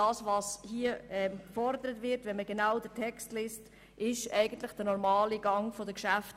Was hier gefordert wird, ist der normale Gang der Geschäfte.